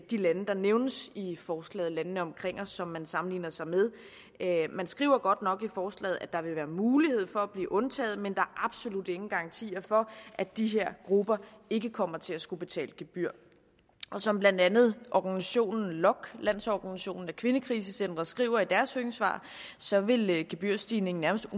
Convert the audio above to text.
de lande der nævnes i forslaget landene omkring os som man sammenligner sig med man skriver godt nok i forslaget at der vil være mulighed for at blive undtaget men der absolut ingen garantier for at de her grupper ikke kommer til at skulle betale gebyr som blandt andet organisationen lokk landsorganisation af kvindekrisecentre skriver i deres høringssvar så vil gebyrstigningen nærmest